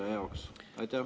… kasutaja jaoks?